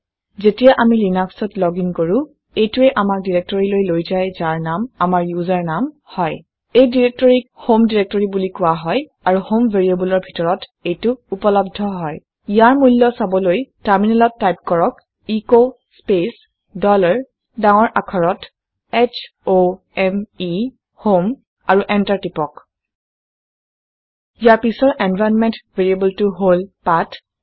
যেতিয়া আমি লিনাক্সত লগিন কৰো এইটোৱে আমাক ডাইৰেক্টৰীলৈ লৈ যায় যাৰ নাম আমাৰ ইউজাৰ নাম হয়। এই ডাইৰেক্টৰীক হম ডাইৰেক্টৰী বুলি কোৱা হয় আৰু হম ভেৰিয়েবলৰ ডিতৰত এইটো উপলব্ধ হয়। ইয়াৰ মূল্য চাবলৈ টাৰমিনেলত টাইপ কৰক এচ স্পেচ ডলাৰ ডাঙৰ আখৰত h o m এ আৰু এন্টাৰ টিপক। ইয়াৰ পিছৰ এনভাইৰনমেন্ট ভেৰিয়াবেলটো হল পাঠ